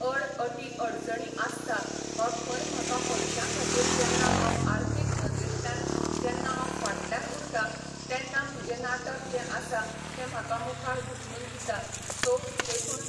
अड अटी अडचणी आसता वा खंय म्हाका पयशां खातीर जेन्ना हांव आर्थिक नदरेंतल्यान जेन्ना हांव फाटल्यान उरता तेन्ना म्हजें नाटक जे आसा ते म्हाका मुखार धुकलून दिता सो देखून